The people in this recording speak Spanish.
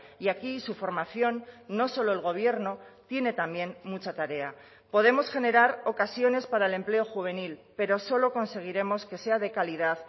y aquí su formación no solo el gobierno tiene también mucha tarea podemos generar ocasiones para el empleo juvenil pero solo conseguiremos que sea de calidad